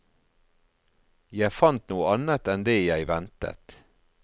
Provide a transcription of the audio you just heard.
Jeg fant noe annet enn det jeg ventet.